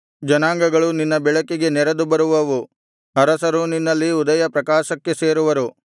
ಜನಾಂಗಗಳು ನಿನ್ನ ಬೆಳಕಿಗೆ ನೆರೆದು ಬರುವವು ಅರಸರೂ ನಿನ್ನಲ್ಲಿನ ಉದಯಪ್ರಕಾಶಕ್ಕೆ ಸೇರುವರು